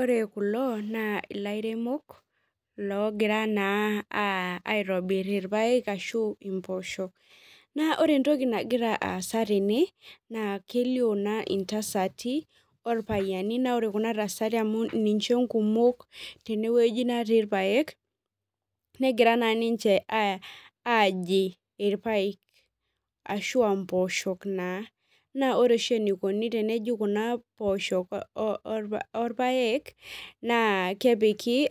Ore kulo naa ilairemok, logira naa aitobir irpaek ashu impoosho. Naa ore entoki nagira aasa tene, naa kelio naa intasati orpayiani, na ore kuna tasati amu ninche nkumok tenewueji natii irpaek, negira naa ninche aji irpaek. Ashua mpooshok naa. Na ore oshi enikoni teneji kuna poosho orpaek, naa kepiki